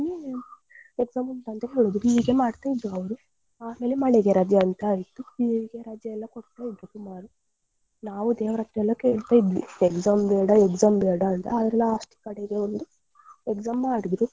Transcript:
Exam ಉಂಟಂತ ಹೇಳುದು ಹೀಗೆ ಮಾಡ್ತಾ ಇದ್ರೂ ಅವರು ಆಮೇಲೆ ಮಳೆಗೆ ರಜೆ ಅಂತ ಆಯ್ತು ಹೀಗೆ ರಜೆ ಎಲ್ಲ ಕೊಡ್ತಾ ಇದ್ರೂ ದಿನಾಲು ನಾವು ದೇವರತ್ರ ಎಲ್ಲ ಕೇಳ್ತಾ ಇದ್ವಿ exam ಬೇಡ exam ಬೇಡ ಅಂತ ಹಾಗೆ last ಕಡೆಗೆ ಒಂದು exam ಮಾಡಿದ್ರು.